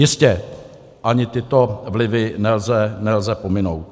Jistě, ani tyto vlivy nelze pominout.